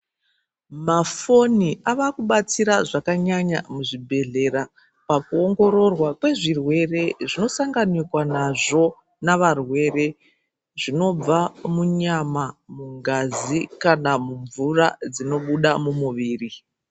Mafoni avakubatsira zvakanyanya muzvibhedhlera pakuongororwa kwezvirwere zvinosanganikwa nazvo zvinobva munyama ngazi kana mumvura dzinobuda mumuviri memunhu.